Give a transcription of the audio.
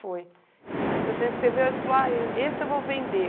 foi? Você sempre escreveu aí você falou, aí, e esse eu vou vender.